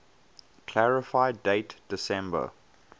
clarify date december